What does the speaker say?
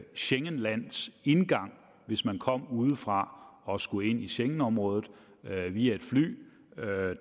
schengenlands indgang hvis man kom udefra og skulle ind i schengenområdet via et fly